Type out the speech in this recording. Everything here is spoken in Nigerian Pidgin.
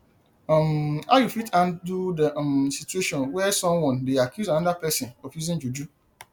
um how you fit handle di um situation where someone dey accuse anoda pesin of using juju